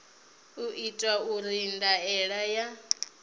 u itwa uri ndaela ya